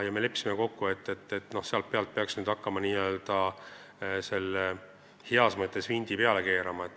Me leppisime kokku, et selle pealt peaks hakkama n-ö heas mõttes vinti peale keerama.